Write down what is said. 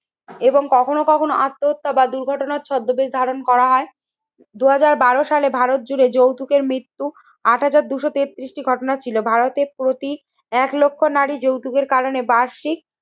এবং কখনো কখনো আত্মহত্যা বা দুর্ঘটনার ছদ্মবেশ ধারণ করা হয়। দুই হাজার বারো সালে ভারত জুড়ে যৌতুকের মৃত্যু আট হাজার দুশো তেত্রিশটি ঘটনা ছিল। ভারতের প্রতি এক লক্ষ নারী যৌতুকের কারণে বার্ষিক